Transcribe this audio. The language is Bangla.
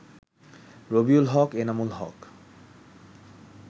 রবিউল হক, এনামুল হক